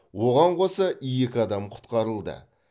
оған қоса екі адам құтқарылды